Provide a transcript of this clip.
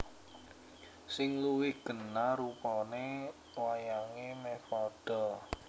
Sing luwih genah rupane wayange meh padha